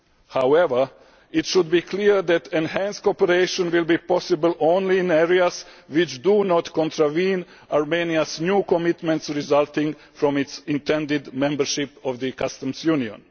However, it should be clear that enhanced cooperation will be possible only in areas which do not contravene Armenia's new commitments resulting from its intended membership of the Customs Union.